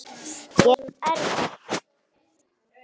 Gera þetta svona erfitt.